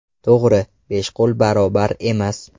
To‘g‘ri, besh qo‘l barobar emas.